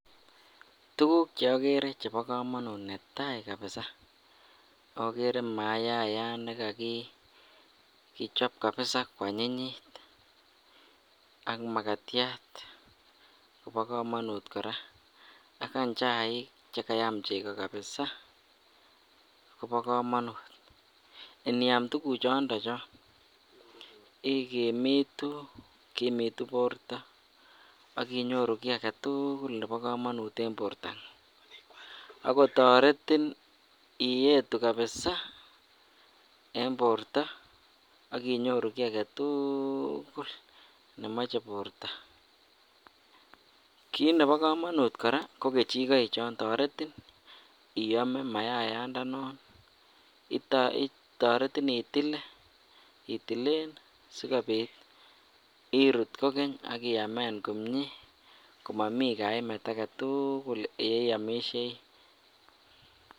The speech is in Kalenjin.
Tukuk cheokere chebokomonut netai kabisa okere maayat nekokichob kabisa kwanyinyit ak makatiat kobokomonut kora ak any chaik chekayam cheko kabisaa kobokomonut, iniam tukuchondo chon ikimitu kimutu borto ak inyoru kii aketukul nebokomonut en bortang'ung, ak kotoretin iyetu kabisaa en borto ak inyoru kii aketukul nemoche borto, kiit nebokomonut kora ko kechikoichon toretin iyome mayayandanon toretin itilil sikobit irut kokeny ak iamen kokeny komomii kainet aketukul yeiomishei.